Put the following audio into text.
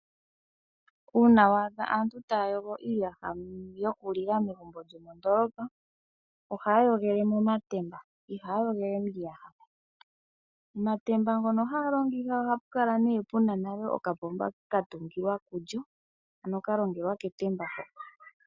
Uuna waadha aantu taya yogo uuyaha yokulila megumbo lyomondoolopa , ohaya yogole momatemba. Ihaya yogele miiyaha. Omatemba ngono haga longitha ohapu kala nale puna okapomba katungilwa pulyo, hono kalongelwa ketemba ho.